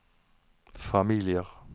familier